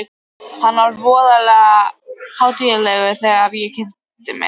Hann var voðalega hátíðlegur þegar ég kynnti mig.